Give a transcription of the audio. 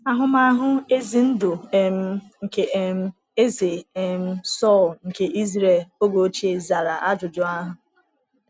Ahụmahụ ezi ndụ um nke um Eze um Sọl nke Israel oge ochie zara ajụjụ ahụ.